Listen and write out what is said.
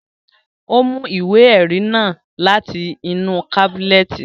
Ó mú ìwé ẹrí náà láti inú kábínẹ̀tì